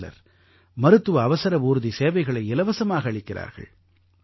வேறு சிலர் மருத்துவ அவசர ஊர்தி சேவைகளை இலவசமாக அளிக்கிறார்கள்